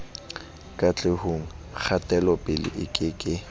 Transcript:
katlehong kgatelopele e ke ke